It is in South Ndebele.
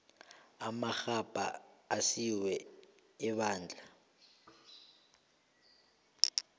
amarhabha asiwa ebandla